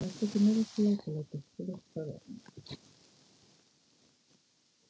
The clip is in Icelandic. Vertu ekki með þessi látalæti. þú veist það vel!